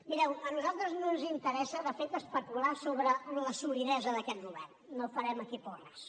mireu a nosaltres no ens interessa de fet especular sobre la solidesa d’aquest govern no farem aquí porres